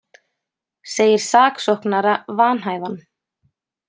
Segir saksóknara vanhæfan